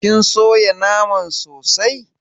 kin soya naman sosai?